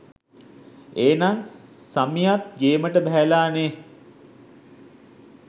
ඒනං සමියත් ගේමට බැහැල නේහ්!